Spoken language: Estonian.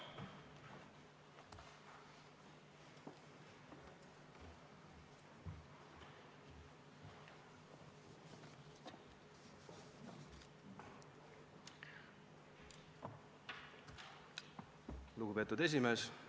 Lugupeetud esimees!